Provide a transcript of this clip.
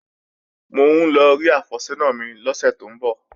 Mò ń lọ rí àfẹ́sọ́nà mi lọ́sẹ̀ tó ń bọ̀